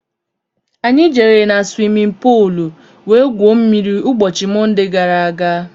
Anyị jere na swimin poolu wee gwuo mmiri ụbọchị Monde gaara aga.